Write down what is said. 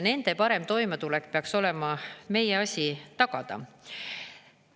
Nende parem toimetulek peaks olema meie asi tagada.